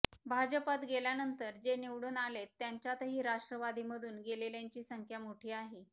भाजपात गेल्यानंतर जे निवडून आलेत त्यांच्यातही राष्ट्रवादीमधून गेलेल्यांची संख्या मोठी आहे